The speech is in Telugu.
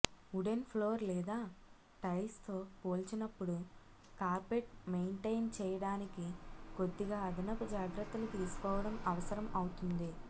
ఉడెన్ ఫ్లోర్ లేదా టైల్స్తో పోల్చినప్పుడు కార్పెట్ మెయింటైన్ చేయడానికి కొద్దిగా అదనపు జాగ్రత్తలు తీసుకోవడం అవసరం అవుతుంది